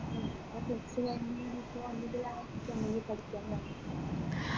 ഇനി ഇപ്പോ plus two കഴിഞ്ഞെന്ന് വേണ്ടിയിട്ട് last എന്തെങ്കിൽ പഠിക്കാൻ പോണം